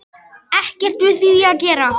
Ekkert við því að gera.